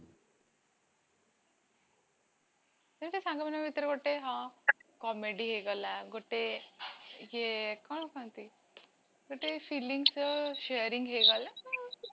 ସେତ ସାଙ୍ଗମାନଙ୍କ ଭିତରେ ଗୋଟେ ହଁ comedy ହେଇଗଲା ଗୋଟେ ୟେ କଣ କହନ୍ତି ଗୋଟେ feelingsର sharing ହେଇଗଲା ତ